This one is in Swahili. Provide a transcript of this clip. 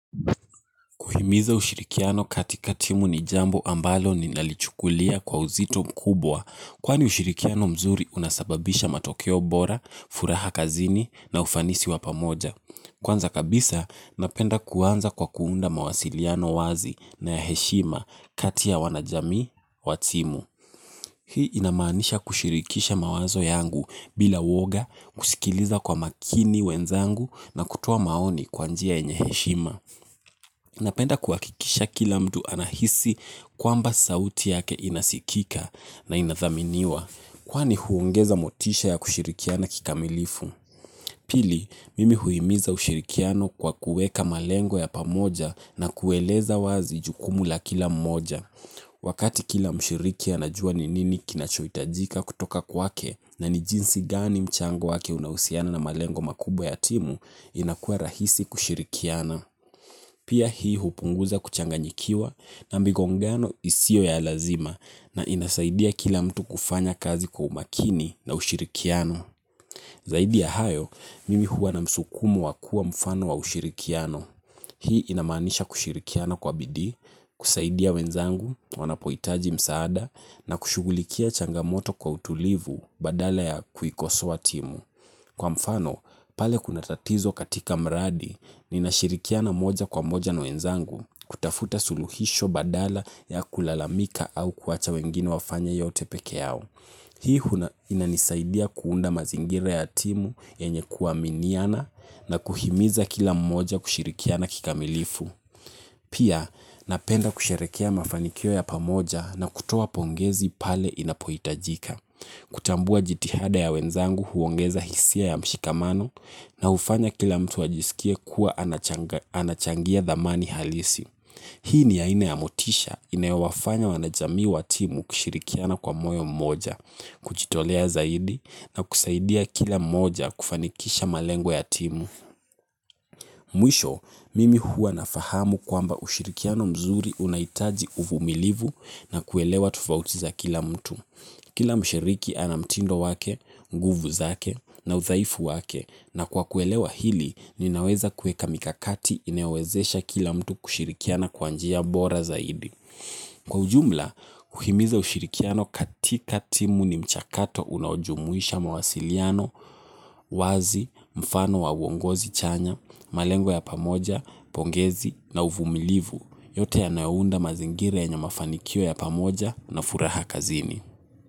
Kuhimiza ushirikiano katika timu ni jambo ambalo ni lalichukulia kwa uzito mkubwa, kwani ushirikiano mzuri unasababisha matokeo bora, furaha kazini na ufanisi wa pamoja. Kwanza kabisa, napenda kuanza kwa kuunda mawasiliano wazi na heshima kati ya wanajamii watimu. Hii inamanisha kushirikisha mawazo yangu bila uwoga, kusikiliza kwa makini wenzangu na kutoa maoni kwa njia yenye heshima. Napenda kuakikisha kila mtu anahisi kwamba sauti yake inasikika na inathaminiwa. Kwani huongeza motisha ya kushirikiana kikamilifu? Pili, mimi huimiza ushirikiano kwa kueka malengo ya pamoja na kueleza wazi jukumu la kila mmoja. Wakati kila mshiriki anajua ninini kinachoitajika kutoka kwake na nijinsi gani mchango wake unausiana na malengo makubwa ya timu inakuwa rahisi kushirikiana. Pia hii hupunguza kuchanganyikiwa na migongano isio ya lazima na inasaidia kila mtu kufanya kazi kwa umakini na ushirikiano. Zaidi ya hayo, mimi huwa na msukumo wa kuwa mfano wa ushirikiano. Hii inamanisha kushirikiana kwa bidii, kusaidia wenzangu, wanapoitaji msaada, na kushugulikia changamoto kwa utulivu badala ya kuikosoa timu. Kwa mfano pale kuna tatizo katika mradi ninashirikiana moja kwa moja na wenzangu kutafuta suluhisho badala ya kulalamika au kuacha wengine wafanye yote pekeyao. Hii inanisaidia kuunda mazingira ya timu, yenye kuaminiana, na kuhimiza kila moja kushirikiana kikamilifu. Pia, napenda kusherekea mafanikio ya pamoja na kutoa pongezi pale inapoitajika. Kutambua jitihada ya wenzangu huongeza hisia ya mshikamano na ufanya kila mtu ajisikie kuwa anachangia dhamani halisi. Hii ni aina ya motisha inayowafanya wanajamii wa timu kushirikiana kwa moyo mmoja, kuchitolea zaidi na kusaidia kila mmoja kufanikisha malengo ya timu mwisho mimi huwa nafahamu kwamba ushirikiano mzuri unaitaji uvumilivu na kuelewa tofauti za kila mtu. Kila mshiriki anamtindo wake, nguvu zake na udhaifu wake na kwa kuelewa hili ninaweza kueka mikakati inayowezesha kila mtu kushirikiana kwa njia bora zaidi. Kwa ujumla, uhimiza ushirikiano katika timu ni mchakato unaojumuisha mawasiliano, wazi, mfano wa uongozi chanya, malengwa ya pamoja, pongezi na uvumilivu. Yote yanayounda mazingira yenya mafanikio ya pamoja na furaha kazini.